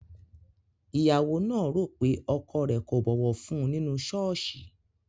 Ìyàwó náà rò pé ọkọ rẹ̀ kò bọ̀wọ̀ fún un nínú ṣọ́ọ̀ṣì